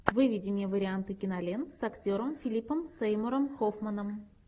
выведи мне варианты кинолент с актером филипом сеймуром хоффманом